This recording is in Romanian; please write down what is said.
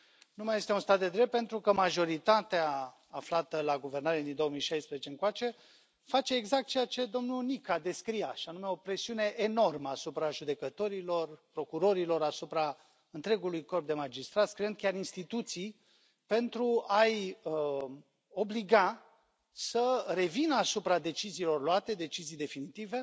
Nu mai este un stat de drept pentru că majoritatea aflată la guvernare din 2016 încoace face exact ceea ce domnul Nica descria, și anume o presiune enormă asupra judecătorilor, procurorilor, asupra întregului corp de magistrați, creând chiar instituții pentru a i obliga să revină asupra deciziilor luate, decizii definitive,